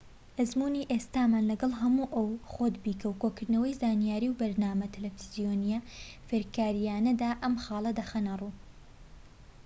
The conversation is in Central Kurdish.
ئەزموونی ئێستامان لەگەڵ هەموو ئەو خۆت بیکە و کۆکردنەوەی زانیاری و بەرنامە تەلەڤیزۆنیە فێرکاریانەدا ئەم خاڵە دەخەنە ڕوو